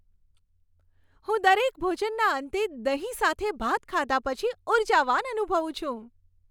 હું દરેક ભોજનના અંતે દહીં સાથે ભાત ખાધા પછી ઉર્જાવાન અનુભવું છું.